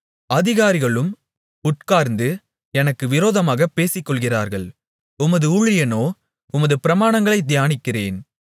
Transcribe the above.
அதிகாரிகளும் உட்கார்ந்து எனக்கு விரோதமாகப் பேசிக்கொள்ளுகிறார்கள் உமது ஊழியனோ உமது பிரமாணங்களைத் தியானிக்கிறேன்